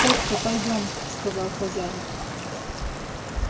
тётка пойдём сказал хозяин